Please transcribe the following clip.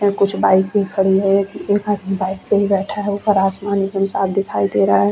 यहाँ पर हम देख पा रहे है की एक बोहत बड़ा सा मैदान है उस मैदान में कई बच्चे कई आदमी गेम खेल रहे है।